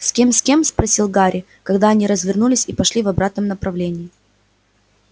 с кем с кем спросил гарри когда они развернулись и пошли в обратном направлении